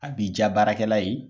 A b'i ja baarakɛla ye.